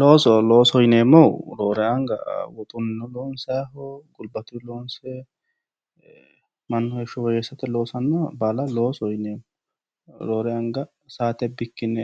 Looso, loosoho yineemmohu roore anga shotu gari loonsayiho gulbatu loonsayiho mannu heeshsho woyyeessate loossanoha baalla loosoho yineemmo, roore anga saate bikkine